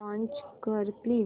launch कर please